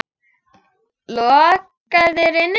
Lokaðir inni?